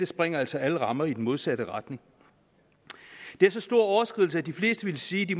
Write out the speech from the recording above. sprænger altså alle rammer i den modsatte retning det er så stor en overskridelse at de fleste ville sige at de